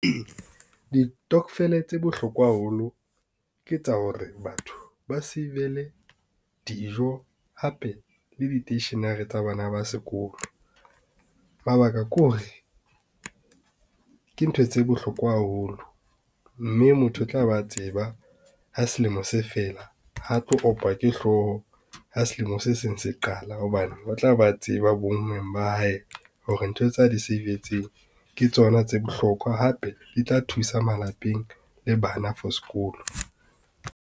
Ditokofele tse bohlokwa haholo ke tsa hore batho ba save-le dijo hape le di-stationery tsa bana ba sekolo. Mabaka kore ke ntho tse bohlokwa haholo, mme motho o tla be a tseba ha selemo se fela ha tlo opa ke hlooho ha selemo se seng se qala hobane o tla ba tseba bonngweng ba hae hore ntho tsa di save-tseng ke tsona tse bohlokwa hape di tla thusa malapeng le bana for sekolo.